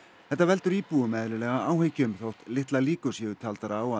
þetta veldur íbúum eðlilega áhyggjum þótt litlar líkur séu taldar á að